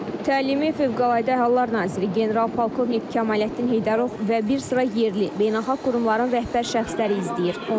Təlimi Fövqəladə Hallar Naziri general-polkovnik Kəmaləddin Heydərov və bir sıra yerli, beynəlxalq qurumların rəhbər şəxsləri izləyir.